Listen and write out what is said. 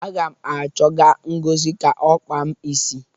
Aga m achọga Ngozi ka ọ kpaa m isi.